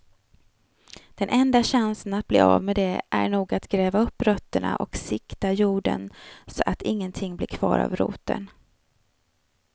Den enda chansen att bli av med det är nog att gräva upp rötterna och sikta jorden så att ingenting blir kvar av roten.